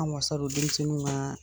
Anw ŋa salon denmisɛnninw ŋaa